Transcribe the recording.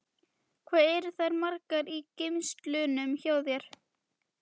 Hvað eru þær margar í geymslunum hjá þér?